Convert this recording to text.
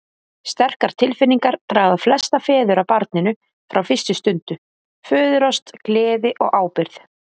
Sterkar tilfinningar draga flesta feður að barninu frá fyrstu stundu, föðurást, gleði og ábyrgð.